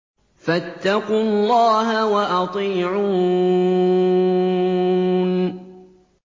فَاتَّقُوا اللَّهَ وَأَطِيعُونِ